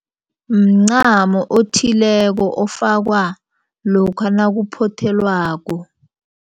Mncamo othileko ofakwa lokha nakuphothelwako.